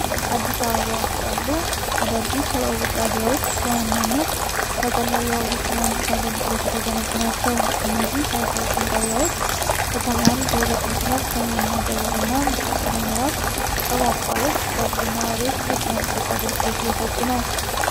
አዲስ አበባ ውስጥ ያሉ አዳዲስ የባቡር ጣቢያዎች በዋናነት ለቀላል ባቡር ትራንዚት አገልግሎት የተገነቡ ናቸው። እነዚህ 39 ጣቢያዎች ከተማዋን በሁለት መስመሮች (ሰሜን-ደቡብ እና ምስራቅ-ምዕራብ) በማቋረጥ ለብዙ ነዋሪዎች የትራንስፖርት አገልግሎት እየሰጡ ነው።